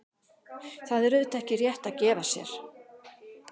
Þetta er auðvitað ekki rétt að gefa sér.